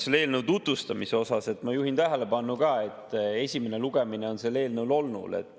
Selle eelnõu tutvustamise kohta: ma juhin tähelepanu, et esimene lugemine on sellel eelnõul olnud.